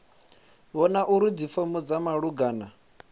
vhona uri dzifomo dza malugana